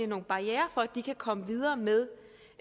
nogle barrierer for at de kan komme videre med